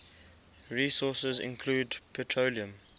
resources include petroleum